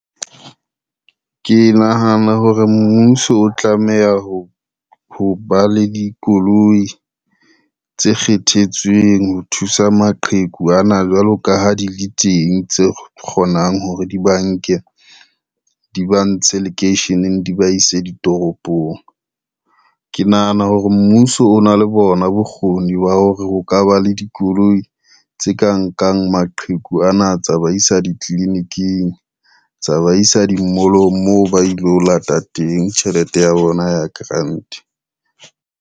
Ke nahana hore mmuso o tlameha ho ba le dikoloi tse kgethetsweng ho thusa maqheku ana jwalo ka ha di le teng, tse kgonang hore di ba nke di ba ntshe lekeisheneng di ba ise ditoropong. Ke nahana hore mmuso o na le bona bokgoni ba hore ho ka ba le dikoloi tse ka nkang maqheku ana tsa ba isa ditliliniking, tsa ba isa di-mall-ong moo ba ilo lata teng tjhelete ya bona ya grant.